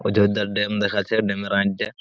অযোধ্যার ড্যাম দেখাচ্ছে। ড্যাম এর আর যে--